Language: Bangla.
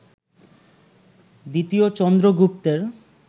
দ্বিতীয় চন্দ্রগুপ্তের